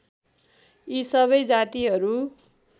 यी सबै जातिहरू